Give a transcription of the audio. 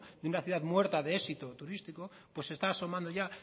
una ciudad muerta de éxito turístico pues está asomando ya